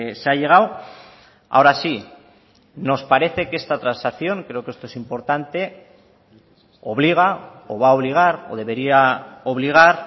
se ha llegado ahora sí nos parece que esta transacción creo que esto es importante obliga o va a obligar o debería obligar